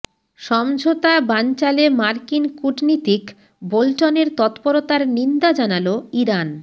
সমঝোতা বানচালে মার্কিন কূটনীতিক বোল্টনের তৎপরতার নিন্দা জানাল ইরান